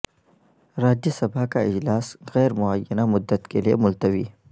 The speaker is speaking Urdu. راجیہ سبھا کا اجلاس غیر معینہ مدت کیلئے ملتوی